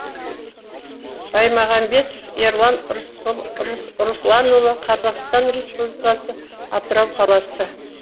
баймағамбетов ерлан русланұлы қазақстан республикасы атырау қаласы